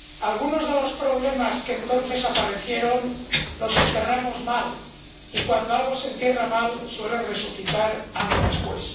Algunos de los problemas que entonces aparecieron los enterramos mal y, cuando algo se entierra mal, suele resucitar algo después.